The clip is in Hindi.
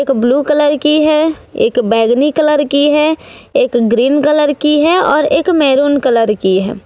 एक ब्लू कलर की है एक बैगनी कलर की है एक ग्रीन कलर की है और एक मैरून कलर की है।